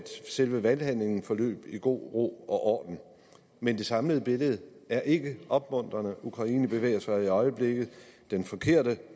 selve valghandlingen forløb i god ro og orden men det samlede billede er ikke opmuntrende ukraine bevæger sig i øjeblikket den forkerte